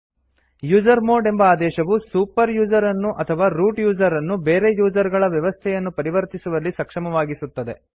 usermod ಎಂಬ ಆದೇಶವು super user ನನ್ನು ಅಥವಾ ರೂಟ್ ಯೂಸರ್ ನನ್ನು ಬೇರೆ ಯೂಸರ್ ಗಳ ವ್ಯವಸ್ಥೆಯನ್ನು ಪರಿವರ್ತಿಸುವಲ್ಲಿ ಸಕ್ಷಮವಾಗಿಸುತ್ತದೆ